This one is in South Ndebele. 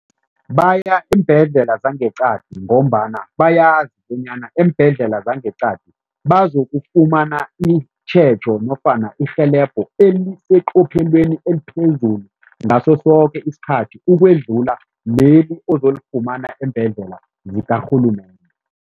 Baya eembhedlela zangeqadi ngombana bayazi bonyana eembhedlela zangeqadi bazokufumana itjhejo nofana irhelebho eliseqophelweni eliphezulu ngaso soke isikhathi ukwedluka leli ozolifumana eembhedlela zikarhulumende.